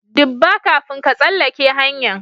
Dubba, kafin ka tsalake hanya'n.